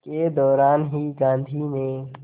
के दौरान ही गांधी ने